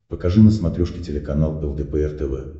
покажи на смотрешке телеканал лдпр тв